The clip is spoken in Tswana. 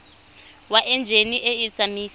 wa enjine e e tsamaisang